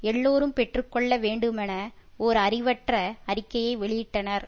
எல்லோரும் பெற்று கொள்ள வேண்டுமென ஒரு அறிவற்ற அறிக்கையை வெளியிட்டனர்